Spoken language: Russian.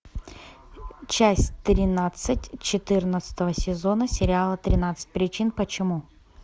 часть тринадцать четырнадцатого сезона сериала тринадцать причин почему